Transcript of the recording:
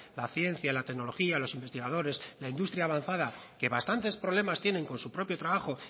la ciencia la tecnología los investigadores la industria avanzada que bastantes problemas tienen con su propio trabajo